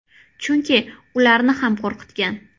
– Chunki ularni ham qo‘rqitgan.